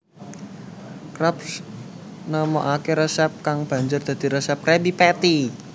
Krabs nemokake resep kang banjur dadi resep Krabby Patty